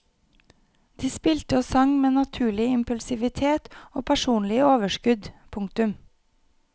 De spilte og sang med naturlig impulsivitet og personlig overskudd. punktum